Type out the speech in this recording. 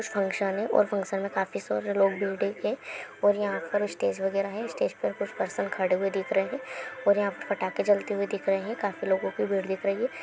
कुछ फंक्शन है और फंक्शन में काफी सारे लोग है और यहाँ पर स्टेज वगेरा है स्टेज पर कुछ पर्सन खड़े हुए दिख रहे है और यहाँ पे पटाख़े जलते हुए दिख रहे है काफी लोगो की भीड़ दिख रही है।